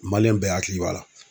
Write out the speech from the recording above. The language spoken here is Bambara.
bɛɛ hakili b'a la.